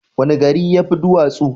Wani gari ya fi duwatsu?